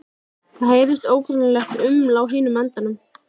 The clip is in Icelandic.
Það heyrist ógreinilegt uml á hinum endanum.